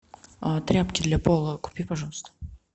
тряпки для пола купи пожалуйста